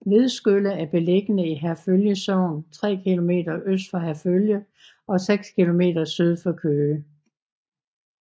Vedskølle er beliggende i Herfølge Sogn tre kilometer øst for Herfølge og seks kilometer syd for Køge